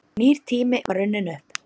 Nýr tími var runninn upp.